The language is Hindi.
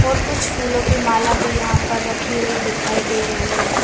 और कुछ फूलों की माला भी यहाँ पर रखी हुई दिखाई दे रही हैं ।